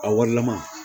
A warilama